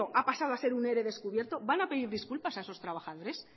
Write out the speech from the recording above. ha pasado a ser un ere descubierto van a pedir disculpas a esos trabajadores